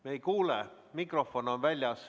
Me ei kuule, mikrofon on väljas.